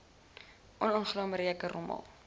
onaangename reuke rommel